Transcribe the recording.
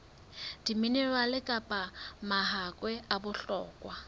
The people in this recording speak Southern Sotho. diminerale kapa mahakwe a bohlokwa